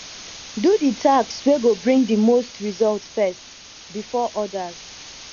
do di task wey go bring di most result first before odas